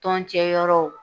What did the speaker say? Tɔn cɛ yɔrɔw